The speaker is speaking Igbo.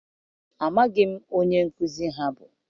amaghim onye nkuzi ha bu.